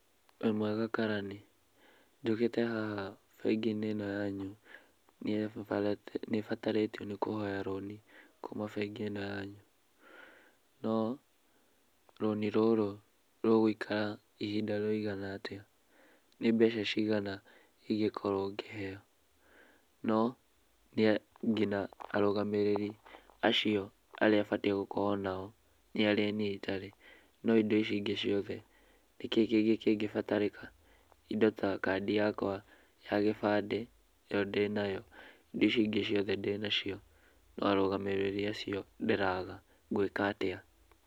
Wĩmwega karani? Njũkĩte haha bengi-inĩ ĩno yanyu, nĩ babarĩ nĩ batarĩtio nĩ kũhoya rũni kuuma bengi ĩno yanyu. No, rũni rũrũ rũgũikara ihinda rĩigana atĩa? Nĩ mbeca cigana ingĩkorwo ngĩheo? No nginya arũgamĩrĩri acio arĩa batiĩ gũkorwo nao, nĩarĩa niĩ itarĩ. No indo icio ingĩ ciothe nĩkĩĩ kĩngĩbatarĩka? Indo ta kandi yakwa ya gĩbandĩ, ĩyo ndĩnayo. Indo icio ingĩ ciothe ndĩnacio. No arũgamĩrĩri acio ndĩraga. Ngwĩka atĩa?